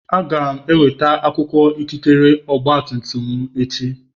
Aga m enweta akwụkwọ ikikere ọgba tum tum m echi